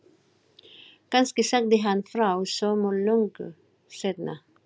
Kannski sagði hann frá sumu löngu seinna.